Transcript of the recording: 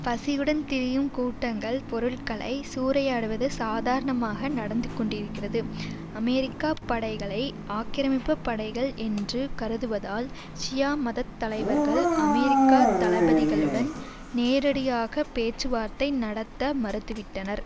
பசியுடன் திரியும் கூட்டங்கள் பொருட்களை சூறையாடுவது சாதாரணமாக நடந்து கொண்டிருக்கிறது அமெரிக்காப் படைகளை ஆக்கிரமிப்பு படைகள் என்று கருதுவதால் ஷியா மதத் தலைவர்கள் அமெரிக்க தளபதிகளுடன் நேரடியாக பேச்சுவார்த்தை நடத்த மறுத்துவிட்டனர்